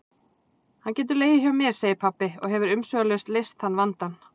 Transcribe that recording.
Hann getur legið hjá mér, segir pabbi og hefur umsvifalaust leyst þann vandann.